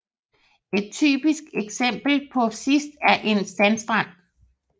Et typisk eksempel på det sidste er en sandstrand